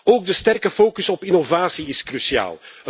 Ook de sterke focus op innovatie is cruciaal.